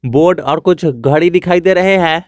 Board और कुछ घड़ी दिखाई दे रहे हैं।